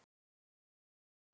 En ég myndi hafna því.